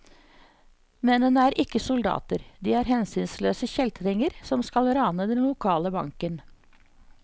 Mennene er ikke soldater, de er hensynsløse kjeltringer som skal rane den lokale banken.